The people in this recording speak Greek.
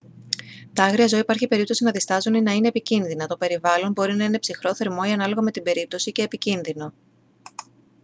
τα άγρια ζώα υπάρχει περίπτωση να διστάζουν ή να είναι επικίνδυνα το περιβάλλον μπορεί να είναι ψυχρό θερμό ή ανάλογα με την περίπτωση και επικίνδυνο